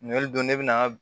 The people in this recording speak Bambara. Ninli don ne bɛna